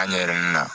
An ɲɛm na